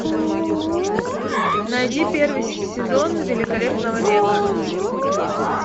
найди первый сезон великолепного века